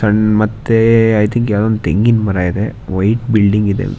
ಮತ್ತೆ ಎ ಥೆಂಗಿನ್ ಮರ ಇದೆ ವೈಟ್ ಬಿಲ್ಡಿಂಗ್ ಇದೆ.